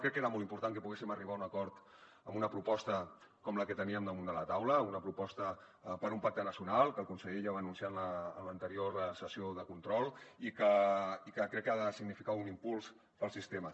crec que era molt important que poguéssim arribar a un acord en una proposta com la que teníem damunt de la taula una proposta per un pacte nacional que el conseller ja va anunciar en l’anterior sessió de control i que crec que ha de significar un impuls per al sistema